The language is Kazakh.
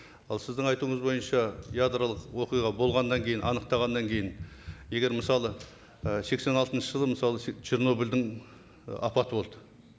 ал сіздің айтуыңыз бойынша ядролық оқиға болғаннан кейін анықтағаннан кейін егер мысалы і сексен алтыншы жылы мысалы чернобыльдің ы апаты болды